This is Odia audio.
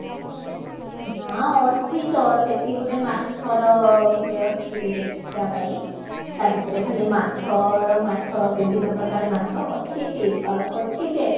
ନା ଅଛି ତ ସେଠି ଗୋଟେ ମାଛର ଗୋଟେ ଅଛି ଦେଖିବା ପାଇଁ ତା ଭିତରେ ଖାଲି ମାଛର ମାଛ ବିଭିନ ପ୍ରକାର ମାଛ ଅଛି park ଅଛି ଯେ